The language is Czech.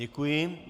Děkuji.